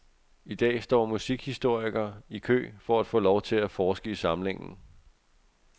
I dag står musikhistorikere i kø for at få lov til at forske i samlingen.